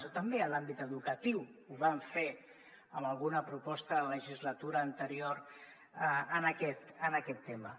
o també en l’àmbit educatiu ho vam fer en alguna proposta de la legislatura anterior en aquest tema